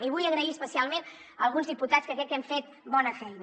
i vull donar les gràcies especialment a alguns diputats que crec que hem fet bona feina